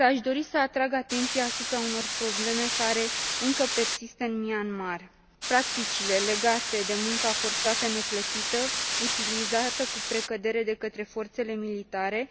Aș dori însă să atrag atenția asupra unor probleme care încă persistă în Myanmar practicile legate de munca forțată neplătită, utilizată cu precădere de către forțele militare,